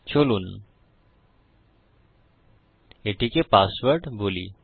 চলুন এটিকে পাসওয়ার্ড বলি